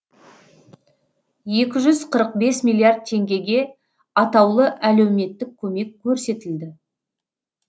екі жүз қырық бес миллиард теңгеге атаулы әлеуметтік көмек көрсетілді